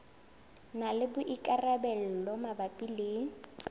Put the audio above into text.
na le boikarabelo mabapi le